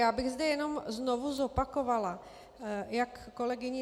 Já bych zde jenom znovu zopakovala jak kolegyni